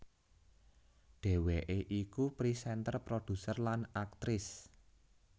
Dhéwéké iku présénter produser lan aktris